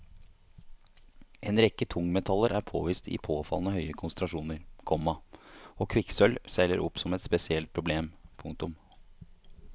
En rekke tungmetaller er påvist i påfallende høye konsentrasjoner, komma og kvikksølv seiler opp som et spesielt problem. punktum